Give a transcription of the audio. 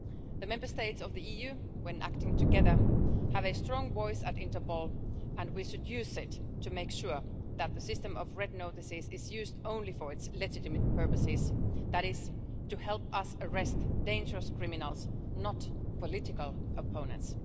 The Member States of the EU, when acting together, have a strong voice at Interpol and we should use it to make sure that the system of red notices is used only for its legitimate purpose that is to help us arrest dangerous criminals, not political opponents.